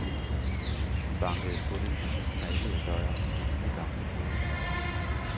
Vi bankede på den fint malede dør i det lille gamle dukkehus.